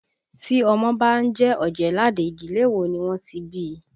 Tí ọmọ bá ń jẹ́ Ọ̀jẹ̀ẹ́làdé, ìdílé wo ni wọ́n ti bí I?